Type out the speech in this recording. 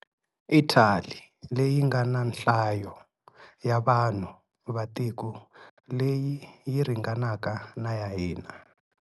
Italy leyi nga na nhlayo ya vanhu va tiko leyi yi ringanaka na ya hina.